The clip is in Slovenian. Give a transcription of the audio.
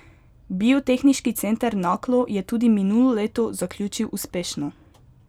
Biotehniški center Naklo je tudi minulo leto zaključil uspešno.